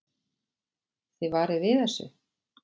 Þið varið við þessu?